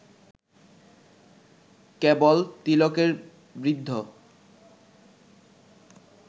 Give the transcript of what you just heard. কেবল তিলকের বৃদ্ধ